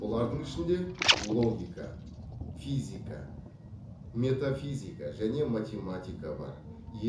бұлардың ішінде логика физика метафизика және математика бар